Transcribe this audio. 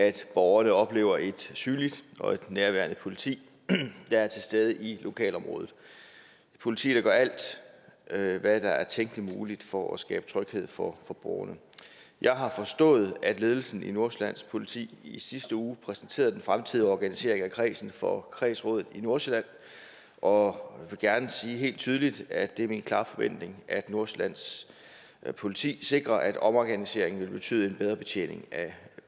er at borgerne oplever et synligt og et nærværende politi der er til stede i lokalområdet et politi der gør alt hvad hvad der er tænkelig muligt for at skabe tryghed for borgerne jeg har forstået at ledelsen i nordsjællands politi i sidste uge præsenterede den fremtidige organisering af kredsen for kredsrådet i nordsjælland og vil gerne sige helt tydeligt at det er min klare forventning at nordsjællands politi sikrer at omorganiseringen vil betyde en bedre betjening af